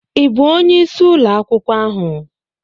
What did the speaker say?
Ị bụ onye isi ụlọ akwụkwọ ahụ?